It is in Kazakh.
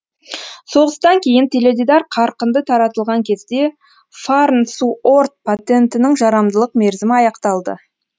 соғыстан кейін теледидар қарқынды таратылған кезде фарнсуорт патентінің жарамдылық мерзімі аяқталды